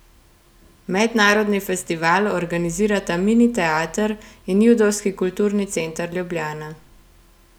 Mednarodni festival organizirata Mini teater in Judovski kulturni center Ljubljana.